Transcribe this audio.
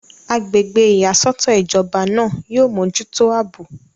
agbègbè ìyàsọ́tọ̀ ìjọba náà yóò mójútó àbò